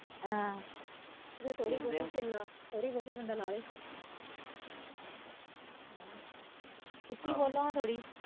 ਥੋੜੀ ਬਹੁਤੀ ਬੰਦਾ ਲਾਵੇ ਉੱਚੀ ਬੋਲੋ ਨਾ ਥੋੜੀ।